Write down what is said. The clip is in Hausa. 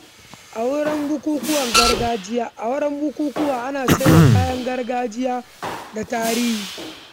A wuraren bukukuwa, ana sayar da kayan gargajiya da kayan tarihi.